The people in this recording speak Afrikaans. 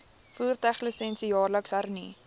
voertuiglisensie jaarliks hernu